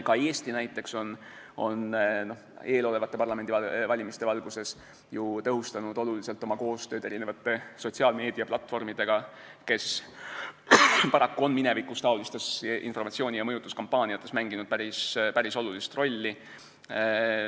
Ka Eesti on näiteks eelolevate parlamendivalimiste valguses oluliselt tõhustanud koostööd sotsiaalmeediaplatvormidega, mis paraku on minevikus sellistes informatsiooni- ja mõjutuskampaaniates mänginud päris olulist rolli.